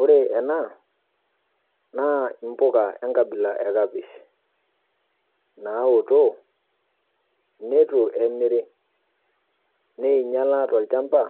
Ore ena, naa impoka enkabila ekapish. Naaoto neitu emiri, neeinyala tolchamba